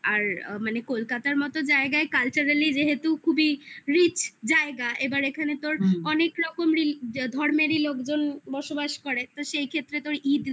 আর মানে কলকাতার মতো জায়গায় কালচারালি যেহেতু খুবই রিচ জায়গা. এবার এখানে তোর অনেক রকম ধর্মেরই লোকজন বাস করে তো সেই ক্ষেত্রে তো